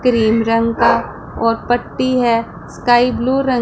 cream रंग का और पट्टी है स्काई ब्लू रंग--